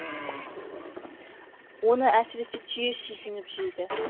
оны әсіресе түйе сүйсініп жейді